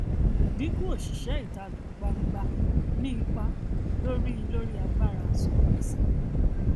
ìdinku òṣìṣẹ ìta gbangba ní ipa lórí lórí agbára san gbèsè